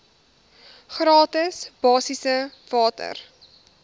gratis basiese water